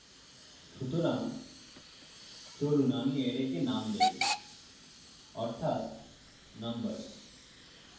সুতরাং চলুন আমি অ্যারেকে name দেই অর্থাত numbers